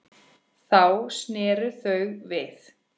Þá sneru þau við.